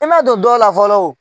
I ma don dɔ la fɔlɔ